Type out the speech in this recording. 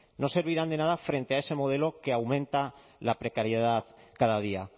no servirán de nada frente a ese modelo que aumenta la precariedad cada día